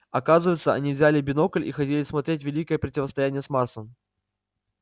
оказывается они взяли бинокль и ходили смотреть великое противостояние с марсом